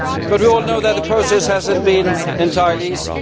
We all know that the process has not been entirely easy.